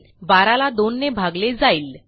12 ला 2 ने भागले जाईल